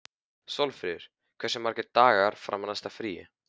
Sólfríður, hversu margir dagar fram að næsta fríi?